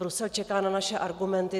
Brusel čeká na naše argumenty.